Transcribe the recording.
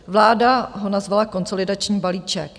Vláda ho nazvala konsolidační balíček.